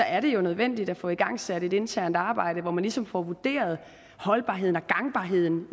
er det jo nødvendigt at få igangsat et internt arbejde hvor man ligesom får vurderet holdbarheden og gangbarheden